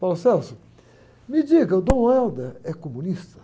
me diga, o Dom é comunista?